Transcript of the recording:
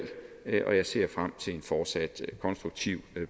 og jeg ser frem til en fortsat konstruktiv